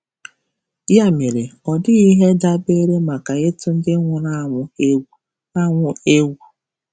Ya mere, ọ dịghị ihe ndabere maka ịtụ ndị nwụrụ anwụ egwu. anwụ egwu.